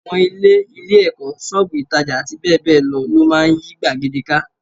Àwọn ilé, ilé-ẹ̀kọ́, ṣọ́ọ̀bù ìtàjà àti bẹ́ẹ̀ bẹ́ẹ̀ lọ máa ń yí gbàgede ká